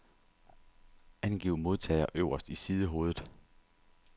Angiv modtager øverst i sidehovedet.